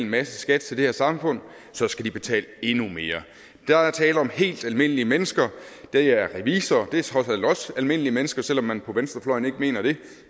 masse skat til det her samfund så skal de betale endnu mere der er tale om helt almindelige mennesker det er revisorer det er trods alt også almindelige mennesker selv om man på venstrefløjen ikke mener det